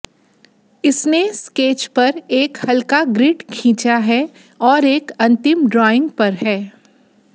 इसने स्केच पर एक हल्का ग्रिड खींचा है और एक अंतिम ड्राइंग पर है